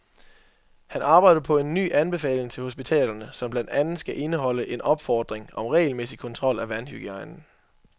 Han arbejder på en ny anbefaling til hospitalerne, som blandt andet skal indeholde en opfordring om regelmæssig kontrol af vandhygiejnen.